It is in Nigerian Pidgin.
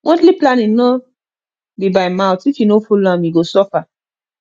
monthly planning no be by mouth if you no follow am you go suffer